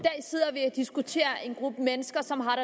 diskuterer en gruppe mennesker som har